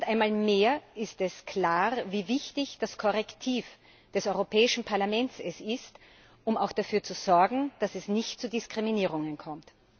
Und einmal mehr ist klar geworden, wie wichtig das Korrektiv des Europäischen Parlaments ist, um auch dafür zu sorgen, dass es nicht zu Diskriminierungen kommt.